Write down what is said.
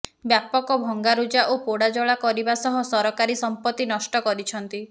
ବ୍ୟାପକ ଭଙ୍ଗାରୁଜା ଓ ପୋଡାଜଳା କରିବା ସହ ସରକାରୀ ସଂପତି ନଷ୍ଟ କରିଛନ୍ତି